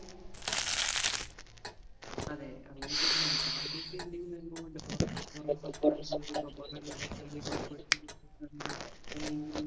അതെ. അങ്ങനെത്തന്നെയാണ്. താങ്കൾക്ക് എന്തെങ്കിലും അനുഭവം ഉണ്ടോ